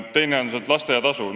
Teiseks, lasteaiatasu.